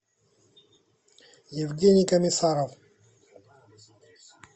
евгений комиссаров